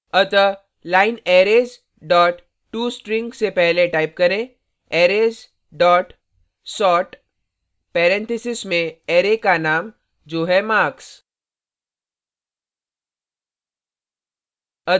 अतः line arrays dot tostring से पहले type करें arrays dot sort parentheses में arrays का name जो है marks